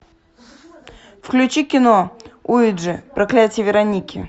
включи кино уиджи проклятие вероники